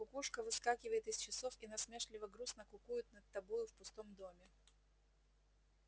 кукушка выскакивает из часов и насмешливо-грустно кукует над тобою в пустом доме